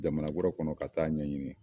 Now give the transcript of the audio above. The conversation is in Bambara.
Jamana wɛrɛ kɔnɔ ka taa ɲɛɲini